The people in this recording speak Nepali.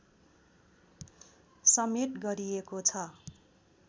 समेत गरिएको छ